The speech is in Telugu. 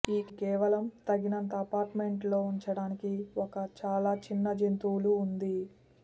ఈ కేవలం తగినంత అపార్ట్మెంట్ లో ఉంచడానికి ఒక చాలా చిన్న జంతువులు ఉంది